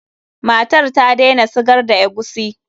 Matar ta daina sigar da eguisi.